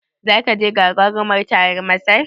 Zaka je gagaruman taron Masar?